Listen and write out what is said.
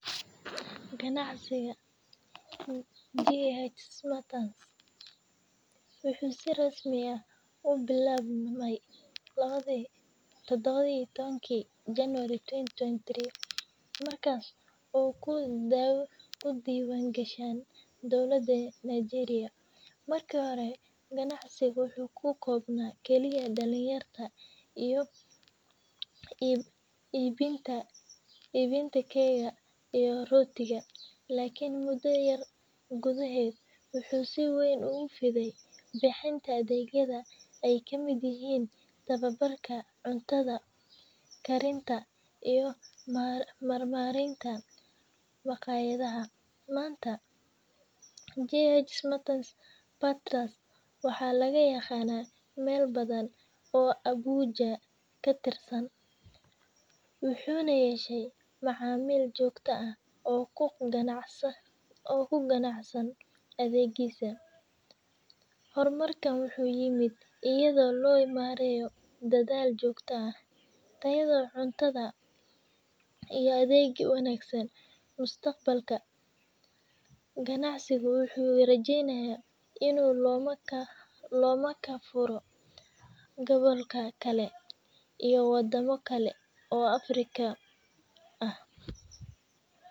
Ganacsiga bx slotters waxuu si rasmi ah u billabmy lawadii, taddawa iyo tawankii january twenty-twenty three ,markaas oo ku diiwan gashan dowladda Nigeria . Marki hore ganacsigu waxuu ku kobnaa kaliya dhalin yarta iyo iibinta keya iyo rootiga . Lakin mudda yar gudaheed waxuu si weyn ugu fiday bixinta adeegyada ay kamid yihiin tababarka cutada karinta iyo marmaarinta maqaayadaha .Manta JH Smarters balterers waxaa laga yaqanaa meel badan oo Abuja ka tirsan ,waxuuna yeeshay macamiil joogta aha oo ku qanacsan adeegisa . Hormarkan waxuu yimid iyadoo loo marayo dadaalka iyadoo cuntada iyo adeega wanaagsan mustaqbalka. Ganacsigu waxuu rajeynayaa inuu loma ka furo gobolka kale iyo waddama kale oo Afrika ah.